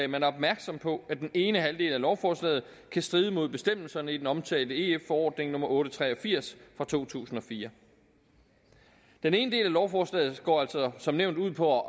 man er opmærksom på at den ene halvdel af lovforslaget kan stride mod bestemmelserne i den omtalte ef forordning nummer otte hundrede og tre og firs fra to tusind og fire den ene del af lovforslaget går altså som nævnt ud på